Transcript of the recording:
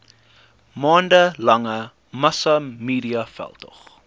maande lange massamediaveldtog